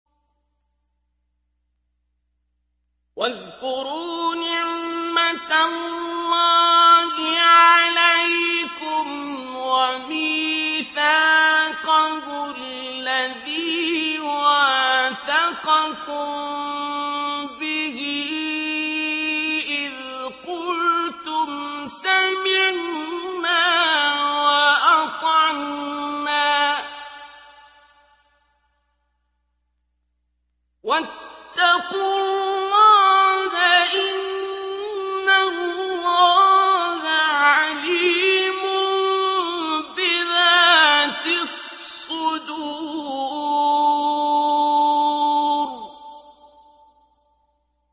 وَاذْكُرُوا نِعْمَةَ اللَّهِ عَلَيْكُمْ وَمِيثَاقَهُ الَّذِي وَاثَقَكُم بِهِ إِذْ قُلْتُمْ سَمِعْنَا وَأَطَعْنَا ۖ وَاتَّقُوا اللَّهَ ۚ إِنَّ اللَّهَ عَلِيمٌ بِذَاتِ الصُّدُورِ